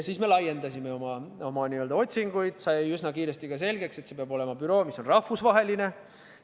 Me laiendasime oma otsinguid ning sai üsna kiiresti selgeks, et see peab olema büroo, mis on rahvusvaheline.